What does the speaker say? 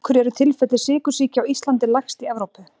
Af hverju eru tilfelli sykursýki á Íslandi lægst í Evrópu?